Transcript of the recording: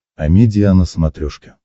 амедиа на смотрешке